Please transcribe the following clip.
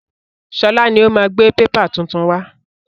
Sọlá ni ó máa gbé pépà tuntun wá.